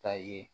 Ta ye